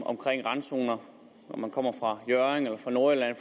omkring randzoner om man kommer fra hjørring fra nordjylland